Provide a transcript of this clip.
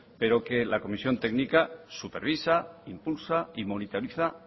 pero que la comisión técnica supervisa impulsa y monitoriza